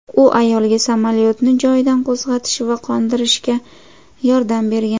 U ayolga samolyotni joyidan qo‘zg‘atish va qo‘ndirishga yordam bergan.